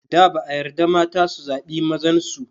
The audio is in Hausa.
Da ba a yarda mata su zaɓi mazan su.